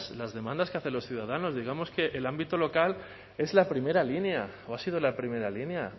las demandas que hacen los ciudadanos digamos que el ámbito local es la primera línea o ha sido la primera línea